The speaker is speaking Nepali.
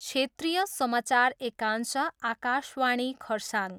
क्षेत्रीय समाचार एकांश, आकाशवाणी खरसाङ।